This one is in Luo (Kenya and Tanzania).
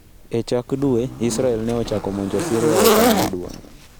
E chak dwe Israel ne ochako monjo Syria e okang ' maduong '.